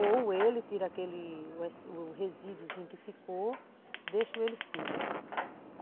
Ou ele tira aquele o resíduozinho que ficou, deixo ele fino.